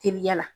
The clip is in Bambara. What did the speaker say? Teliya la